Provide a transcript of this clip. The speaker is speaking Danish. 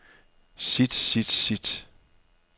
sit sit sit